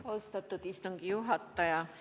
Austatud istungi juhataja!